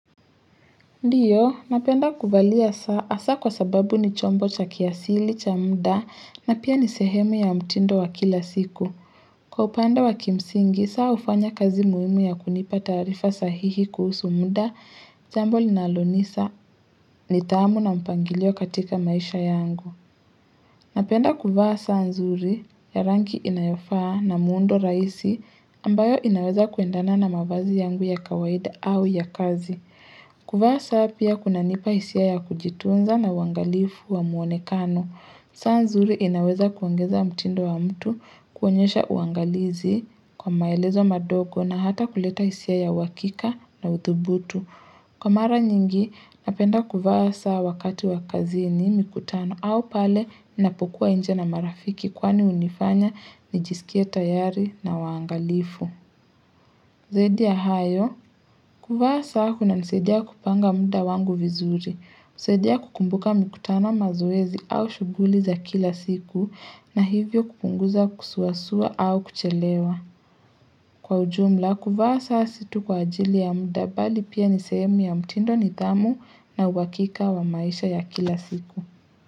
Ndiyo, napenda kuvalia saa, hasa kwa sababu ni chombo cha kiasili, cha muda, na pia ni sehemu ya mtindo wa kila siku. Kwa upande wa kimsingi, saa hufanya kazi muhimu ya kunipa taarifa sahihi kuhusu muda, jambo linalonisa ni tamu na mpangilio katika maisha yangu. Napenda kuvaa saa nzuri, ya rangi inayofaa na muundo rahisi, ambayo inaweza kuendana na mavazi yangu ya kawaida au ya kazi. Kuvaa saa pia kunanipa hisia ya kujitunza na uwangalifu wa muonekano. Saa nzuri inaweza kuongeza mtindo wa mtu kuonyesha uangalizi kwa maelezo madogo na hata kuleta hisia ya uhakika na uthubutu. Kwa mara nyingi, napenda kuvaa saa wakati wa kazini, mikutano au pale, ninapokuwa nje na marafiki kwani hunifanya, nijisikie tayari na uwangalifu. Zaidi ya hayo, kuvaa saa kunanisadia kupanga muda wangu vizuri. Nisaidia kukumbuka mikutano mazoezi au shughuli za kila siku na hivyo kupunguza kusuasua au kuchelewa. Kwa ujumla kuvaa saa si tu kwa ajili ya muda bali pia ni sehemu ya mtindo nidhamu na uhakika wa maisha ya kila siku.